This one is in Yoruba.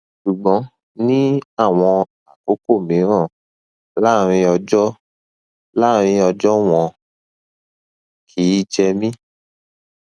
ṣùgbọn ní àwọn àkókò mìíràn láàárín ọjọ láàárín ọjọ wọn kìí jẹ mí